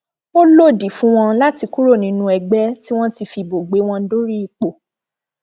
ó lòdì fún wọn láti kúrò nínú ẹgbẹ tí wọn ti fìbò gbé wọn dórí ipò